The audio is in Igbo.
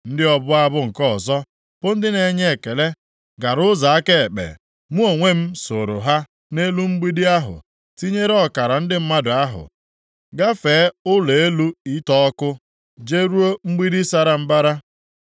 Ndị ọbụ abụ nke ọzọ bụ ndị na-enye ekele gara ụzọ aka ekpe. Mụ onwe m sooro ha nʼelu mgbidi ahụ, tinyere ọkara ndị mmadụ ahụ, gafee Ụlọ elu Ite Ọkụ jeruo Mgbidi Sara Mbara.